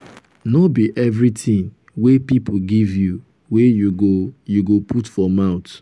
no be everytin wey pipo give you wey you go you go put for mouth.